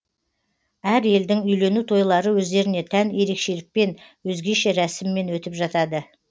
әр елдің үйлену тойлары өздеріне тән ерекшелікпен өзгеше рәсіммен өтіп жатады